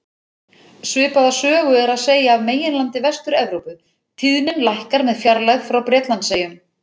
Svipaða sögu er að segja af meginlandi Vestur-Evrópu, tíðnin lækkar með fjarlægð frá Bretlandseyjum.